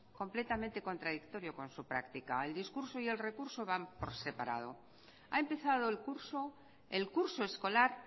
completamente contradictorio con su práctica el discurso y el recurso van por separado ha empezado el curso el curso escolar